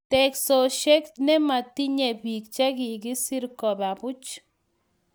Teksosiek nematinyei bik che kikiser koba buch